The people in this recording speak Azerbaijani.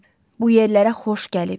Bu yerlərə xoş gəlib.